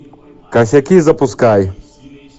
косяки запускай